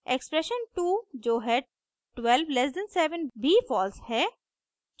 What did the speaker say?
expression 2 जो है 12 < 7 भी फॉल्स है